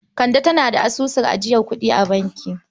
Kande tana da asusun ajiyar kuɗi a bankin.